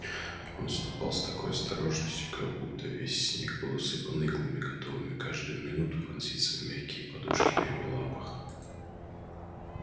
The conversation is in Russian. он ступал с такой осторожностью как будто весь снег был усыпан иглами готовыми каждую минуту вонзиться в мягкие подушки на его лапах